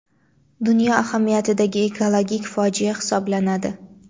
dunyo ahamiyatidagi ekologik fojia hisoblanadi.